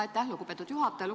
Aitäh, lugupeetud juhataja!